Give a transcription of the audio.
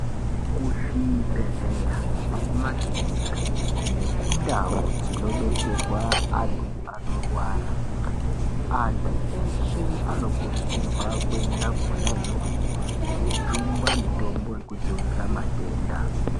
Kuzvibhedhleya nekumakirinika, nekundau dzinodetserwa antu anorwara, antu eshe anokurudzirwa kuyenda khona yoyo kojungwa mitombo yokudzivirira matenda.